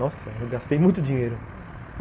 Nossa, eu gastei muito dinheiro, hum.